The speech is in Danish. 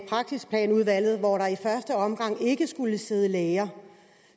praksisplanudvalget hvor der i første omgang ikke skulle sidde læger